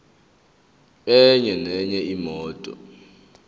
enye nenye imoto